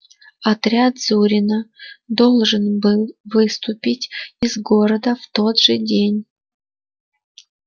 отряд зурина должен был выступить из города в тот же день